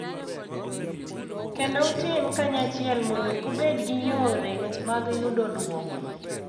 Kendo utim kanyachiel mondo ubed gi yore mag yudo duoko.